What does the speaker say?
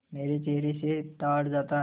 मेरे चेहरे से ताड़ जाता